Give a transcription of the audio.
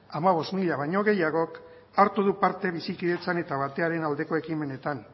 hamabost mila baino gehiagok hartu du parte bizikidetzan eta bakearen aldeko ekimenetan